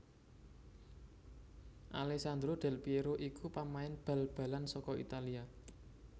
Alèssandro Del Pièro iku pamain bal balan saka Italia